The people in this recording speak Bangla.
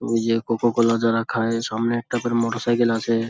ইয়ে কোকোকোলা যারা খায় সামনে একটা করে মোটর সাইকেল আছে।